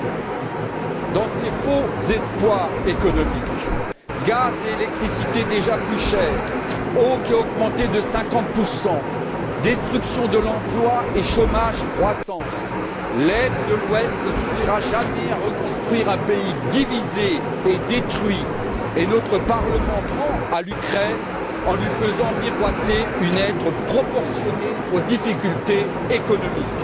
Face à ses faux espoirs économiques gaz et électricité déjà plus chers, eau qui a augmenté de 50 destruction de l'emploi et chômage croissant l'aide de l'Ouest ne suffira jamais à reconstruire un pays divisé et détruit et notre Parlement ment à l'Ukraine en lui faisant miroiter une aide proportionnée aux difficultés économiques.